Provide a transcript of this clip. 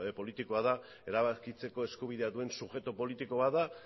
politikoa da erabakitzeko eskubidea duen subjektu politiko bat da